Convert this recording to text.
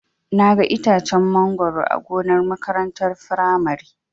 Naga itacen mangoro a gonar makarantar firamare.